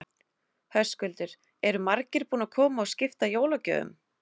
Höskuldur: Eru margir búnir að koma og skipta jólagjöfum?